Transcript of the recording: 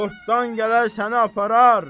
Xortdan gələr səni aparar.